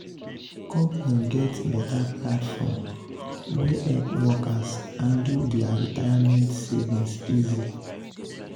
company get better platform wey help workers handle their retirement savings easy.